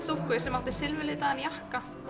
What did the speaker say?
dúkku sem átti silfraðan jakka